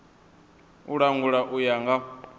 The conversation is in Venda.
u langula u ya nga